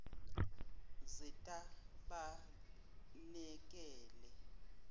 zetabanekele